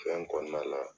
Fɛn kɔnɔna la